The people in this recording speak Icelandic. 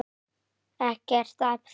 Ekkert að þakka